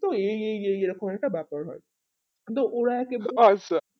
এই এই এই এইরকম একটা বাপের হয় দিয়ে ওরা